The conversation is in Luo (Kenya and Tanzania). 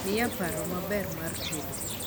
miya paromaber mar tedo